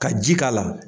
Ka ji k'a la